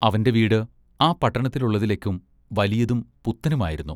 അവന്റെ വീട് ആ പട്ടണത്തിലുള്ളതിലെക്കും വലിയതും പുത്തനുമായിരുന്നു.